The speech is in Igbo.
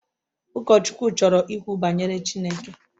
Ụkọchukwu chọrọ ikwu banyere Chineke